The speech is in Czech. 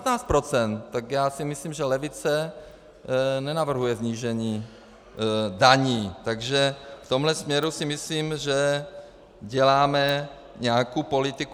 Tak já si myslím, že levice nenavrhuje snížení daní, takže v tomhle směru si myslím, že děláme nějakou politiku.